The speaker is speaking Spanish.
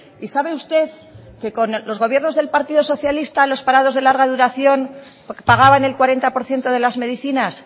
y sabe usted que con los gobiernos del partido socialistas los parados de larga duración pagaban el cuarenta por ciento de las medicinas